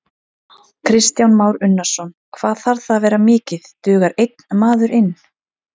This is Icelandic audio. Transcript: Kristján Már Unnarsson: Hvað þarf það að vera mikið, dugar einn maður inn?